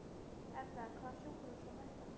Erla: Hvaða sjúkrahús var þetta?